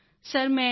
sir ਮੈਂ M